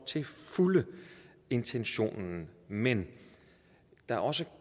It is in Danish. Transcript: intentionen men der er også